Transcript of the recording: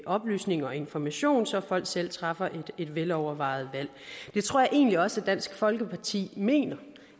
oplysning og information så folk selv træffer et velovervejet valg det tror jeg egentlig også at dansk folkeparti mener